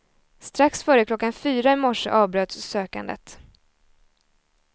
Strax före klockan fyra i morse avbröts sökandet.